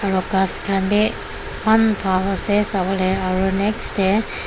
aro ghas khan bi eman bhal ase sawolae aro next tae.